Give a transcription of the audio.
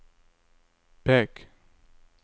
pek